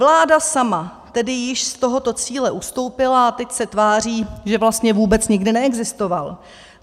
Vláda sama tedy již z tohoto cíle ustoupila a teď se tváří, že vlastně vůbec nikdy neexistoval.